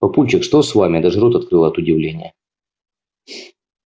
папульчик что с вами я даже рот открыла от удивления